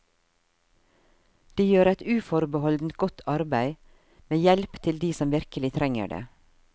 De gjør et uforbeholdent godt arbeid, med hjelp til de som virkelig trenger det.